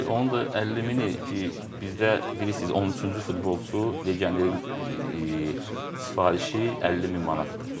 Onun da 50 mini ki bizdə bilirsiz 13-cü futbolçu legionerin sifarişi 50 min manatdır.